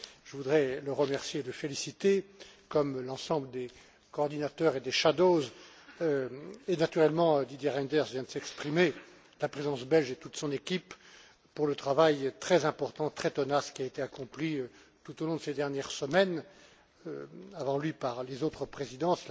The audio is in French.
Je voudrais le remercier et le féliciter, comme l'ensemble des coordinateurs et des rapporteurs fictifs, et naturellement Didier Reynders vient de s'exprimer la Présidence belge et toute son équipe, pour le travail très important, très tenace qui a été accompli tout au long de ces dernières semaines, avant lui, par les autres Présidences.